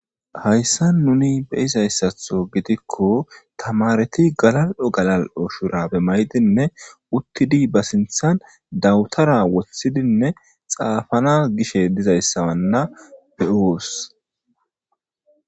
hayssa nuni be'izayssatho gidikko tamareti galal7o galal7o shurabe maydinne uttidi ba sinthan dawutara wothhidinne xaafana gishe dizayssawanna be7oos